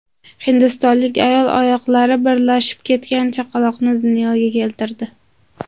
Hindistonlik ayol oyoqlari birlashib ketgan chaqaloqni dunyoga keltirdi.